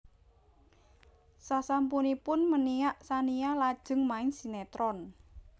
Sasampunipun meniak Tsania lajeng main sinétron